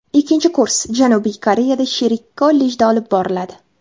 Ikkinchi kurs Janubiy Koreyada sherik kollejda olib boriladi.